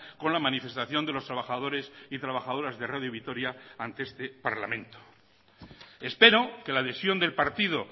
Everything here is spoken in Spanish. con la manifestación de los trabajadores y trabajadoras de radio vitoria ante este parlamento espero que la adhesión del partido